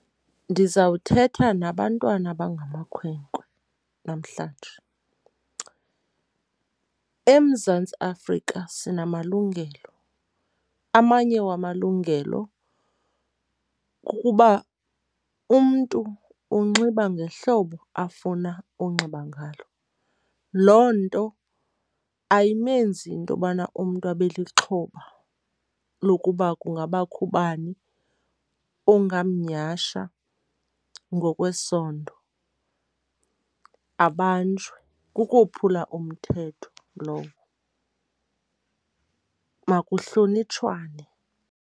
Ndizawuthetha nabantwana abangamakhwenkwe namhlanje. EMzantsi Afrika sinamalungelo, amanye wamalungelo kukuba umntu unxiba ngehlobo afuna unxiba ngalo. Loo nto ayimenzi intobana umntu abe lixhoba lokuba kungabakho ubani ongamnyhasha ngokwesondo. Abanjwe, kukophula umthetho lowo. Makuhlonitshwane.